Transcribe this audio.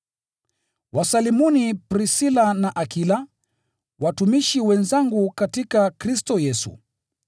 Wasalimuni Prisila na Akila, watumishi wenzangu katika Kristo Yesu.